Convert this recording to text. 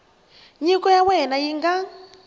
nyiko ya wena yi nga